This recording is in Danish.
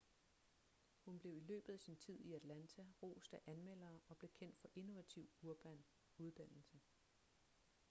hun blev i løbet af sin tid i atlanta rost af anmeldere og blev kendt for innovativ urban uddannelse